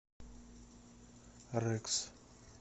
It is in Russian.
рэкс